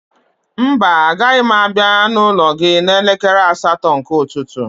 Mba, agaghị m abịa n'ụlọ gị n'elekere asatọ nke ụtụtụ